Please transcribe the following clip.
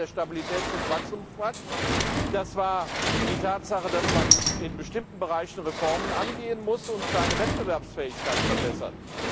Das war der Stabilitäts und Wachstumspakt, das war die Tatsache, dass man in bestimmten Bereichen Reformen angehen muss und seine Wettbewerbsfähigkeit verbessert.